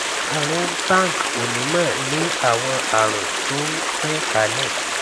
arun tank onímọ ní àwọn àrùn tó n tan kálẹ